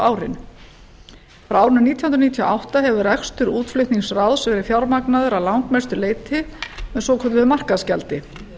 árin frá árinu nítján hundruð níutíu og átta hefur rekstur útflutningsráðs verið fjármagnaður að langmestu leyti með svokölluðu markaðsgjaldi